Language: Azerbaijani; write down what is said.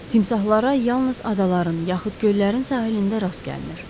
Timsahlara yalnız adaların, yaxud göllərin sahilində rast gəlinir.